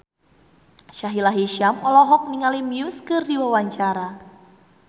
Sahila Hisyam olohok ningali Muse keur diwawancara